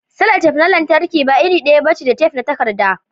sellotape na lantarki ba iri daya bace da tef na takarda